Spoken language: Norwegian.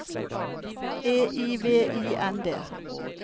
E I V I N D